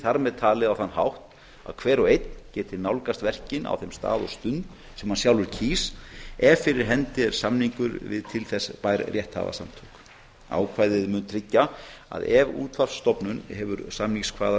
þar með talin á þann hátt að hver og einn geti nálgast verkin á þeim stað og stund sem hann sjálfur kýs ef fyrir hendi er samningur við til þess bær rétthafasamtök ákvæðið mundi tryggja að ef útvarpsstofnun hefði